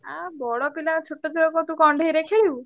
ଆଁ ବଡ ପିଲା ଛୋଟ ଛୁଆ କଣ ତୁ କଣ୍ଢେଇରେ ଖେଳିବୁ?